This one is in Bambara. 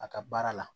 A ka baara la